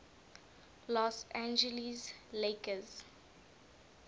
los angeles lakers